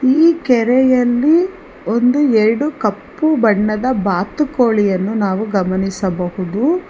ಈ ಕೆರೆಯಲ್ಲಿ ಒಂದು ಎಡು ಕಪ್ಪು ಬಣ್ಣದ ಬಾತುಕೋಳಿಯನ್ನು ಗಮನಿಸಬಹುದು.